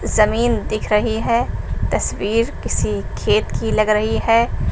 जमीन दिख रही है तस्वीर किसी खेत की लग रही है।